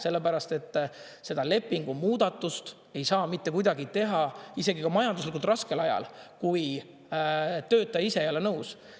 Sellepärast et seda lepingu muudatust ei saa mitte kuidagi teha isegi majanduslikult raskel ajal, kui töötaja ise ei ole nõus.